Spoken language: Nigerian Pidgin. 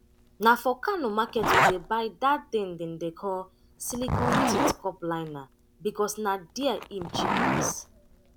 na for kano market we dey buy dat tin dem dey call silicone teat cup liner becos na there im cheap pass